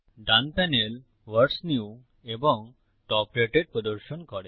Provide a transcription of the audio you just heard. ডান panel what's new এবং top rated প্রদর্শন করে